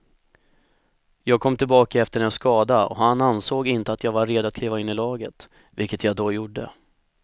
Jag kom tillbaka efter en skada och han ansåg inte att jag var redo att kliva in i laget, vilket jag då gjorde.